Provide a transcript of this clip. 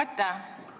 Aitäh!